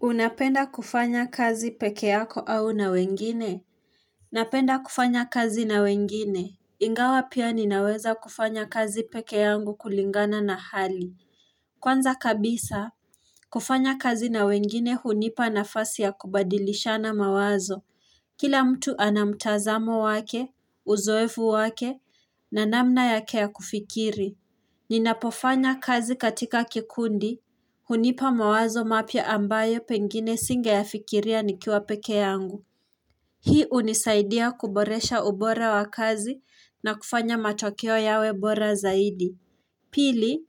Unapenda kufanya kazi pekee yako au na wengine? Napenda kufanya kazi na wengine? Ingawa pia ninaweza kufanya kazi peke yangu kulingana na hali. Kwanza kabisa, kufanya kazi na wengine hunipa nafasi ya kubadilishana mawazo. Kila mtu ana mtazamo wake, uzoevu wake, na namna yake ya kufikiri. Ninapofanya kazi katika kikundi. Hunipa mawazo mapya ambayo pengine singeyafikiria nikiwa pekee yangu Hii hunisaidia kuboresha ubora wa kazi na kufanya matokeo yawe bora zaidi Pili,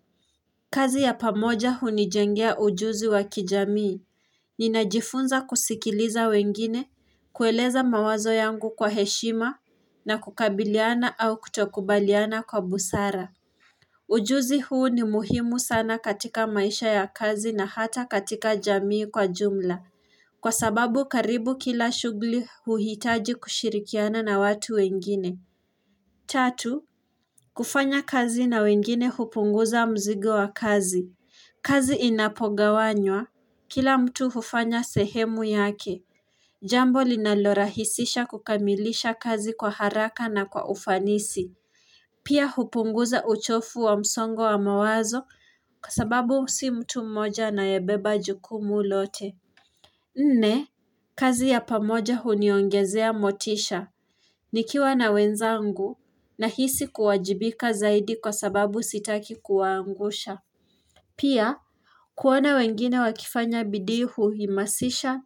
kazi ya pamoja hunijengea ujuzi wa kijamii Ninajifunza kusikiliza wengine, kueleza mawazo yangu kwa heshima na kukabiliana au kutokubaliana kwa busara Ujuzi huu ni muhimu sana katika maisha ya kazi na hata katika jamii kwa jumla Kwa sababu karibu kila shughuli huhitaji kushirikiana na watu wengine Tatu, kufanya kazi na wengine hupunguza mzigo wa kazi kazi inapogawanywa, kila mtu hufanya sehemu yake Jambo linalorahisisha kukamilisha kazi kwa haraka na kwa ufanisi Pia hupunguza uchofu wa msongo wa mawazo kwa sababu si mtu mmoja anayebeba jukumu lote. Nne, kazi ya pamoja huniongezea motisha. Nikiwa na wenzangu na hisi kuwajibika zaidi kwa sababu sitaki kuwaangusha. Pia, kuona wengine wakifanya bidii huhimasisha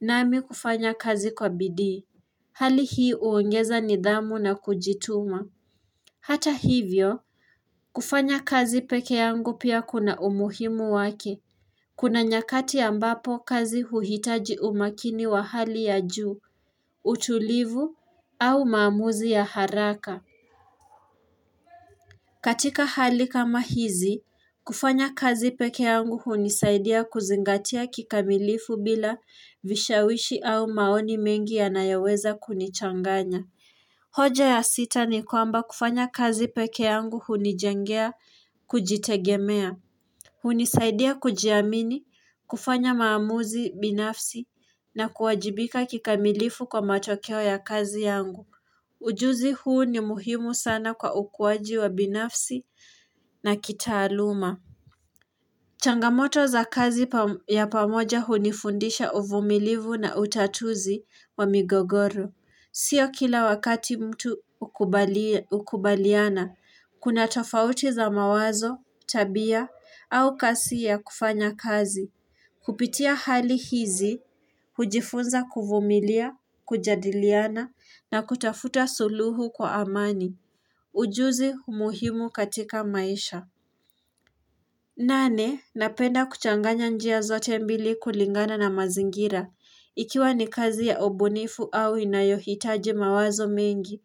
nami kufanya kazi kwa bidii. Hali hii huongeza nidhamu na kujituma. Hata hivyo, kufanya kazi pekee yangu pia kuna umuhimu wake. Kuna nyakati ambapo kazi huhitaji umakini wa hali ya juu, utulivu, au mamuzi ya haraka. Katika hali kama hizi, kufanya kazi peke yangu hunisaidia kuzingatia kikamilifu bila vishawishi au maoni mengi yanayoweza kunichanganya. Hoja ya sita ni kwamba kufanya kazi pekee yangu hunijengea kujitegemea. Hunisaidia kujiamini kufanya maamuzi binafsi na kuwajibika kikamilifu kwa matokeo ya kazi yangu. Ujuzi huu ni muhimu sana kwa ukuaji wa binafsi na kitaaluma. Changamoto za kazi ya pamoja hunifundisha uvumilifu na utatuzi wa migogoro. Sio kila wakati mtu hukubaliana, kuna tofauti za mawazo, tabia, au kasi ya kufanya kazi. Kupitia hali hizi, hujifunza kuvumilia, kujadiliana, na kutafuta suluhu kwa amani. Ujuzi muhimu katika maisha. Nane, napenda kuchanganya njia zote mbili kulingana na mazingira. Ikiwa ni kazi ya ubunifu au inayohitaji mawazo mingi,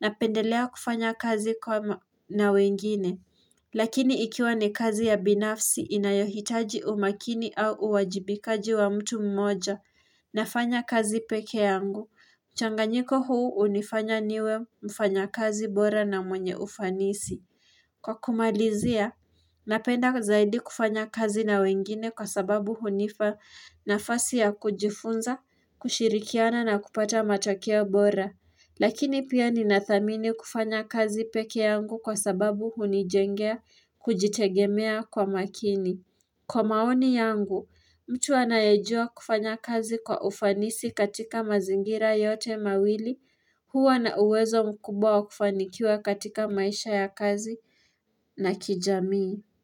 napendelea kufanya kazi kwa na wengine. Lakini ikiwa ni kazi ya binafsi inayohitaji umakini au uwajibikaji wa mtu mmoja, nafanya kazi pekee yangu. Mchanganyiko huu hunifanya niwe mfanyakazi bora na mwenye ufanisi. Kwa kumalizia, napenda zaidi kufanya kazi na wengine kwa sababu hunifa nafasi ya kujifunza, kushirikiana na kupata matokea bora. Lakini pia ninathamini kufanya kazi pekee yangu kwa sababu hunijengea kujitegemea kwa makini. Kwa maoni yangu, mtu anayejua kufanya kazi kwa ufanisi katika mazingira yote mawili, huwa na uwezo mkubawa kufanikiwa katika maisha ya kazi na kijamii.